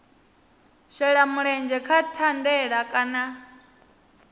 shela mulenzhe kha thandela kana